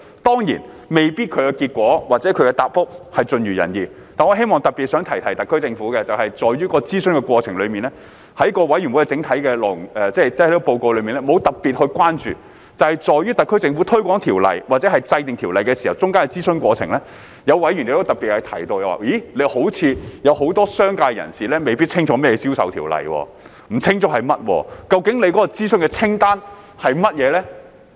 當然，其結果或答覆未必盡如人意，但本人希望特別想提提特區政府，就是在這諮詢的過程中，法案委員會的整體報告內沒有提出特別的關注，而在於特區政府推廣條例或制定條例中間的諮詢過程，有委員特別提到似乎很多商界人士未必清楚甚麼是銷售條例，既然不清楚它是甚麼，更不知道究竟諮詢清單是甚麼。